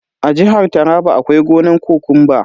A jihar taraba akwai gonan kokumba.